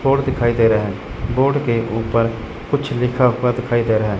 Board दिखाई दे रहा है बोर्ड के ऊपर कुछ लिखा हुआ दिखाई दे रहा है।